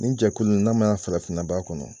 Nin jɛkulu nin n'a ma ya farafinna b'a kɔnɔ